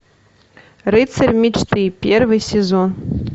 рыцарь мечты первый сезон